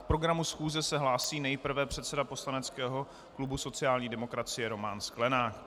K programu schůze se hlásí nejprve předseda poslaneckého klubu sociální demokracie Roman Sklenák.